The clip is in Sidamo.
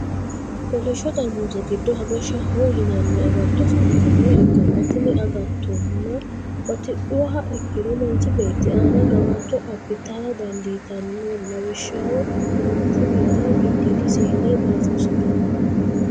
kolisho xarimuuze diddo habeshaho yinanni agatto afanitannoha ikanna tinni agatonno batidhuha ikiro manchi beeti aanna gawajjo abitara dandiitanno lawishshaho manchunnita gidiidi seele dafurisitano.